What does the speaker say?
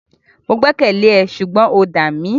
Mo gbẹ́kẹ̀lé ẹ ṣùgbọ́n o dà mí.